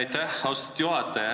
Aitäh, austatud juhataja!